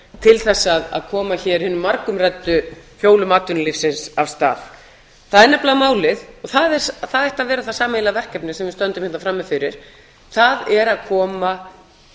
til þess að koma hér hinum bara umræddu hjólum atvinnulífsins af stað það er nefnilega málið og það ætti að vera það sameiginlega verkefni sem við stöndum hérna frammi fyrir það er að koma